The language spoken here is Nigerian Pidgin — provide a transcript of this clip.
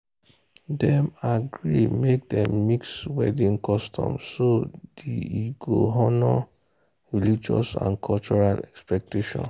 dem agree make dem mix wedding customs so the e go honour religious and cultural expectations.